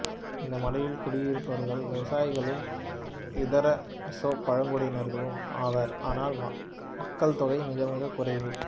இந்த மலையில் குடியிருப்பவர்கள் லுசாய்களும் இதர மிசோ பழங்குடியினர்களும் ஆவர் ஆனால் மக்கட்தொகை மிகமிகக் குறைவு